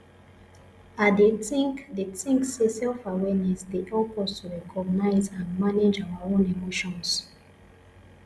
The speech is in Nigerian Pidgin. i dey think dey think say selfawareness dey help us to recognize and manage our own emotions